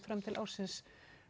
til ársins